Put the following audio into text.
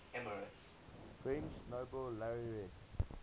french nobel laureates